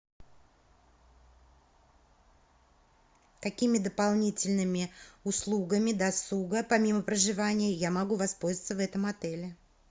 какими дополнительными услугами досуга помимо проживания я могу воспользоваться в этом отеле